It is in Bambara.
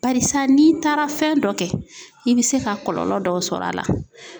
Barisa n'i taara fɛn dɔ kɛ i bi se ka kɔlɔlɔ dɔ sɔr'a la.